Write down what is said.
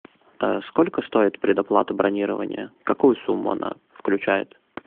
сколько стоит предоплата бронирования какую сумму она включает